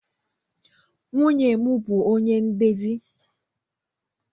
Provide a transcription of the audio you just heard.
Nwunye m bụ ọnye ndezi